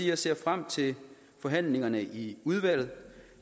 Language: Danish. jeg ser frem til forhandlingerne i udvalget